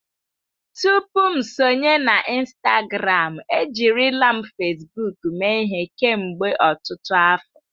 Tupu m sonye na Instagramụ, ejirila m Fesbuuk mee ihe kemgbe ọtụtụ afọ.